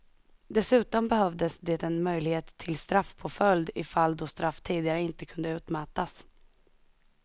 Dessutom behövdes det en möjlighet till straffpåföljd i fall då straff tidigare inte kunde utmätas.